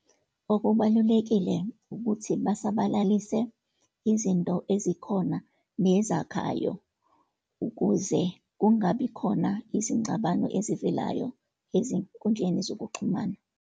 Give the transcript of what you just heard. Okubalulekile ukuthi basabalalise izinto ezikhona nezakhayo, ukuze kungabikhona izingxabano ezivelayo ezinkundleni zokuxhumana.